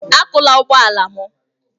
Akụla ụgbọ ala m!